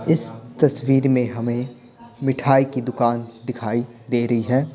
इस तस्वीर में हमें मिठाई की दुकान दिखाई दे रही है।